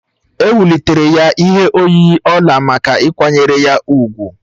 Ewulitere ya ihe oyiyi ọla maka ịkwanyere ya úgwù.